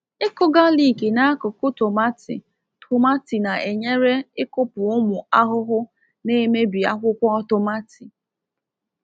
Ịkụ galik n’akụkụ tomati tomati na-enyere ịkụpụ ụmụ ahụhụ na-emebi akwụkwọ tomati.